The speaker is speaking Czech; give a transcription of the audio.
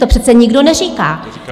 To přece nikdo neříká.